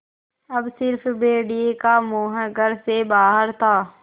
अब स़िर्फ भेड़िए का मुँह घर से बाहर था